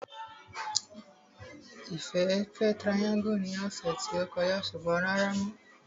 Ìfẹ́ fẹ́ tirayáńgù ní ọ̀sẹ̀ tí ó kọjá ṣùgbọ́n rárá mọ́